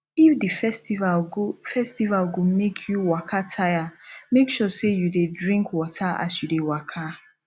if the festival go festival go make you waka tire make sure say you de drink water as you de waka